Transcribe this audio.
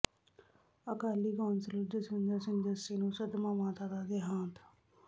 Akali councillor Jaswinder Singh Jassi ਨੂੰ ਸਦਮਾ ਮਾਤਾ ਦਾ ਦੇਹਾਂਤ